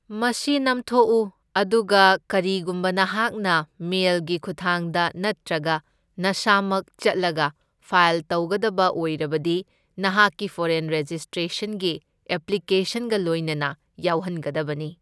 ꯃꯁꯤ ꯅꯝꯊꯣꯛꯎ, ꯑꯗꯨꯒ ꯀꯥꯔꯤꯒꯨꯝꯕ ꯅꯍꯥꯛꯅ ꯃꯦꯜꯒꯤ ꯈꯨꯠꯊꯥꯡꯗ ꯅꯠꯇ꯭ꯔꯒ ꯅꯁꯥꯃꯛ ꯆꯠꯂꯒ ꯐꯥꯏꯜ ꯇꯧꯒꯗꯧꯕ ꯑꯧꯏꯔꯕꯗꯤ ꯅꯍꯥꯛꯀꯤ ꯐꯣꯔꯦꯟ ꯔꯦꯖꯤꯁꯇ꯭ꯔꯦꯁꯟꯒꯤ ꯑꯦꯞꯂꯤꯀꯦꯁꯟꯒ ꯂꯣꯏꯅꯅ ꯌꯥꯎꯍꯟꯒꯗꯕꯅꯤ꯫